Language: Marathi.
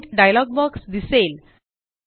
प्रिंट डायलॉग बॉक्स दिसेल